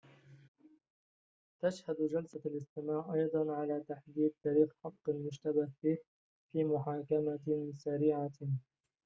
تشهد جلسة الاستماع أيضاً على تحديد تاريخ حق المشتبه فيه في محاكمة سريعة